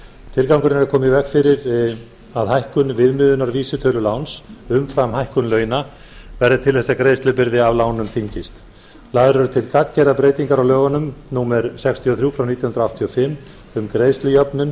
tilgangurinn er að koma í veg fyrir að hækkun viðmiðunarvísitölu láns umfram hækkun launa verði til þess að greiðslubyrði af lánum þyngist lagðar eru til gagngerar breytingar á lögum númer sextíu og þrjú nítján hundruð áttatíu og fimm um greiðslujöfnun